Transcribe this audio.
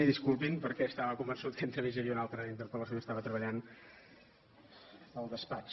i disculpin perquè estava con vençut que entremig n’hi havia una altra d’interpel·lació i estava treballant al despatx